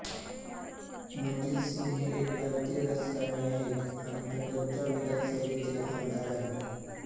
मनजित सिंग हे एक भारतीय राजकारणी आहेत आणि पंजाबच्या विधानसभेचे आमदार आहेत